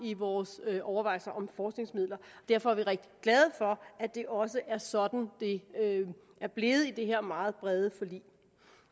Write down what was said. i vores overvejelser om forskningsmidler og derfor er vi rigtig glade for at det også er sådan det er blevet i det her meget brede forlig